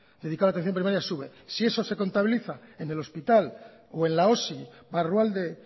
dedicado a la atención primaria sube si eso se contabiliza en el hospital o en la osi barrualde